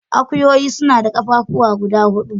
Akuyoyi suna da ƙafafuwa guda hudu.